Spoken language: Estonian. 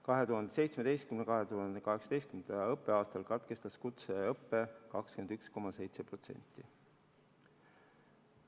2017/2018. õppeaastal katkestas kutseõppe 21,7% õppuritest.